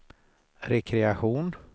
rekreation